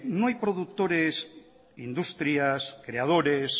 no hay productores industrias creadores